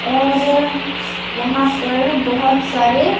और यहाँ पर बहुत सारे --